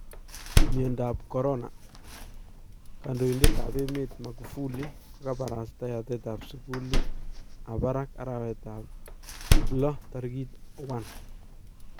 Myandap Corona : Kandoindetab emet Magufuli kokabarasta yatet ab sukuulit ab barak arawetab loo 1